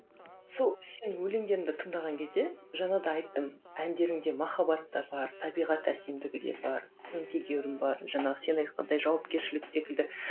сол сенің өлеңдеріңді тыңдаған кезде жаңа да айттым әндеріңде махаббат та бар табиғат әсемдігі де бар сын тегеуірін бар жаңағы сен айтқандай жауапкершілік секілді ыыы